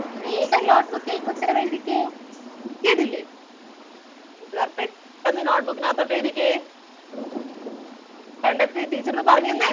വേഗം note book ൽ ഉത്തരം എഴുതിക്കെ. കേട്ടില്ലേ കൂട്ടുകാർ പെട്ടന്ന് note book നകത്തോട്ട് എഴുതിക്കേ കണ്ടെത്തിയത് teacher ന് പറഞ്ഞു തന്നെ